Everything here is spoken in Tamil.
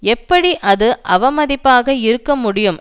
எப்படி அது அவமதிப்பாக இருக்க முடியும்